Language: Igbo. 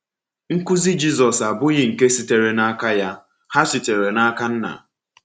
Nkuzi Jizọs abụghị nke sitere n’aka ya; ha sitere n’aka Nna.